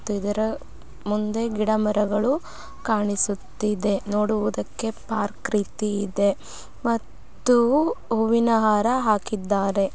ಇದರ ಮುಂದೆ ಗಿಡ ಮರ್ಗಳು ಕಾಣುತ್ತಿದೆ ನೋಡುವುದಕ್ಕೆ ಪಾರ್ಕ್ ರೀತಿ ಇದೆ ಮತ್ತು ಹೂವುನ ಹಾರ ಹಾಕಿದ್ದಾರೆ.